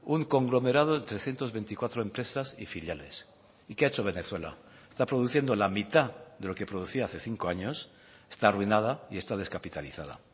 un conglomerado de trescientos veinticuatro empresas y filiales y qué ha hecho venezuela está produciendo la mitad de lo que producía hace cinco años está arruinada y está descapitalizada